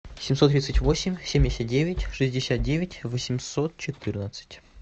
семьсот тридцать восемь семьдесят девять шестьдесят девять восемьсот четырнадцать